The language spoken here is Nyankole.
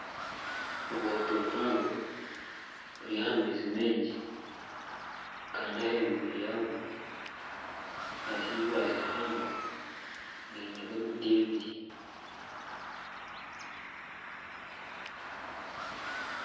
Obwato buhango buri aha maizi maingi Kandi ahaiguru yaabwo hariho eibare rihango riineho emiti ebiri